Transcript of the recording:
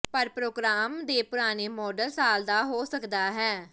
ਪਰ ਪ੍ਰੋਗਰਾਮ ਦੇ ਪੁਰਾਣੇ ਮਾਡਲ ਸਾਲ ਦਾ ਹੋ ਸਕਦਾ ਹੈ